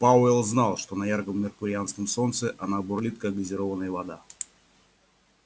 пауэлл знал что на ярком меркурианском солнце она бурлит как газированная вода